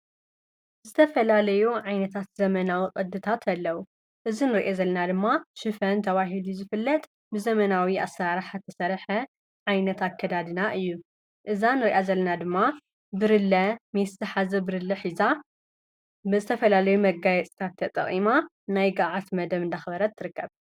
ዝተፈላለዮ ዓይነታት ዘመናዊ ቐድታት ኣለዉ እዝ ንርአ ዘለና ድማ ሽፈን ተብሂሉእዩ ዝፍለጥ ብዘመናዊ ኣሠራሕ ኣተሠርሐ ዓይነታ ከዳድና እዩ እዛን ርኣ ዘለና ድማ ብርለ መስትሓዘ ብርሊ ኂዛ ብዝተፈላለዩ መጋይ ጽካተ ጠቒማ ናይ ገዓት መደብ እንዳኽበረት ትርከብ።